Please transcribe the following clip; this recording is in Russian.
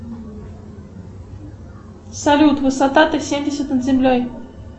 салют высота т семьдесят над землей